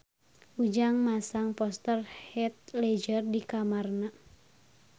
Ujang masang poster Heath Ledger di kamarna